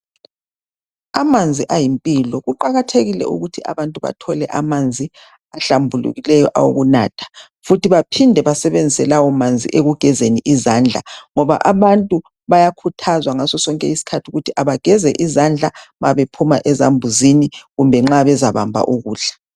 Amanzi ayimpilo. Kuqajathekile ukuthi abantu bathole amanzi ahlambulukileyo. Awokunatha. Futhi baphinde basebenzise kawomanzi ekugezeni izandla, ngoba abantu bayakhuthazwa ngaso sonke isikhathi ukuthi bageze izandla nxa bephuma esambuzini, kumbe nxa bezabamba ukudla.